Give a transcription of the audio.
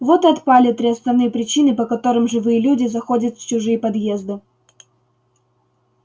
вот и отпали три основные причины по которым живые люди заходят в чужие подъезды